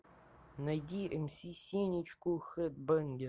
найди мс сенечку хэдбэнгер